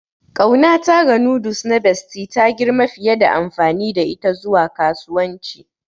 Ƙaunata ga noodles na Bestie ta girma fiye da amfani da ita zuwa kasuwanci.